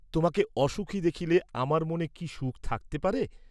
তোমাকে অসুখী দেখলে আমার মনে কি সুখ থাকতে পারে?